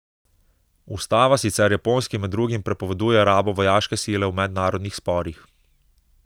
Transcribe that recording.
Ustava sicer Japonski med drugim prepoveduje rabo vojaške sile v mednarodnih sporih.